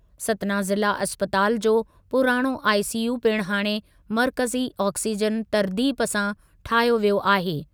सतना ज़िला इस्पताल जो पुराणो आईसीयू पिणु हाणे मर्कज़ी ऑक्सीजन तर्तीब सां ठाहियो वियो आहे।